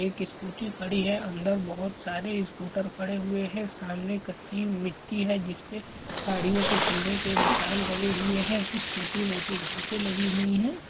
एक स्कूटी खड़ी हैं अंदर बहोत सारे स्कूटर खड़े हुए हैं सामने कच्ची मिट्टी हैं जिस पे गाड़ियों के चलने के निशान बने हुए हैं कुछ छोटी-मोटी घासे लगी हुई हैं।